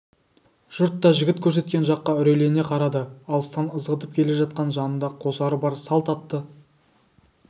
жұрт та жігіт көрсеткен жаққа үрейлене қарады алыстан ызғытып келе жатқан жанында қосары бар салт атты